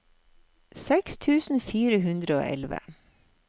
seks tusen fire hundre og elleve